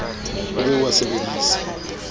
o be o a sebedise